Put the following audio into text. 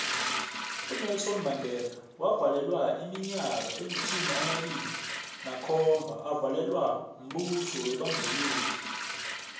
unelson mandela wavalelwa iminyaka elitjhumi amabili nakhomba avalelwa mbuso webandlululo